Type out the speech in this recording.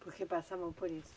Porque passavam por isso?